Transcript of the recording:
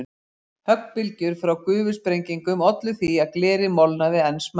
Höggbylgjur frá gufusprengingum ollu því að glerið molnaði enn smærra.